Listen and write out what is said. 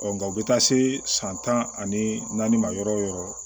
nka u bɛ taa se san tan ani naani ma yɔrɔ o yɔrɔ